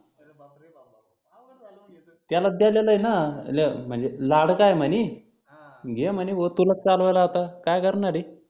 त्यालाच द्यालेलं आहे ना. लोक म्हणजे लाडका आहे म्हणी. घे म्हणी भो तुलाच चालवायला आता काय करणार आहे?